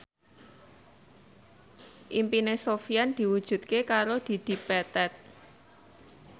impine Sofyan diwujudke karo Dedi Petet